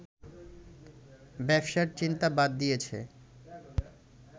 ব্যবসার চিন্তা বাদ দিয়েছে